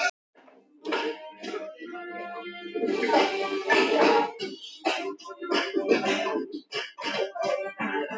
Afa sem var vinur minn.